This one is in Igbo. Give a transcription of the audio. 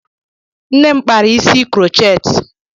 Nne m kpara isi krocheetị.